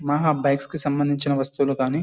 మహా బైక్స్ కి సంబంధించిన వస్తువులూ గానీ--